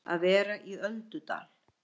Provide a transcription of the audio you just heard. Að vera í öldudal